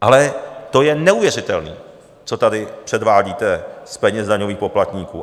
Ale to je neuvěřitelný, co tady předvádíte z peněz daňových poplatníků.